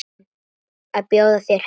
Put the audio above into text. Að bjóða þér heim.